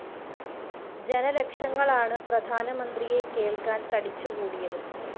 ജനലക്ഷങ്ങളാണ് പ്രധാനമന്ത്രിയെ കേള്‍ക്കാന്‍ തടിച്ചുകൂടിയത്